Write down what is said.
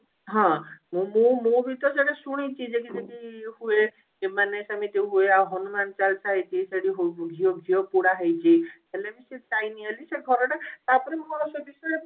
ହଁ ମୁଁ ମୁଁ ବି ତ ସେଟା ଶୁଣିଛି ଯେ କି ଯେ କି ହୁଏ ଏମାନେ ସେମିତି ହୁଏ ଆଉ ହନୁମାନ ଚାଳିଶା ହେଇଛି ସେଠି ହୁ ଘିଅ ଘିଅ ପୋଡା ହେଇଛି ହେଲେ ବି ସିଏ ଯାଇନି ବୋଲି ସେ ଘର ଟା ତାପରେ ମୁଁ ଆଉ ସେ ବିଷୟରେ